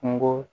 Kungo